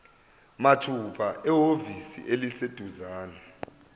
mathupha ehhovisi eliseduzane